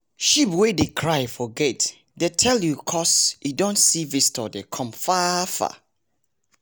sheep wey dey cry for gate dey tell you coz e don see visitor dey come far far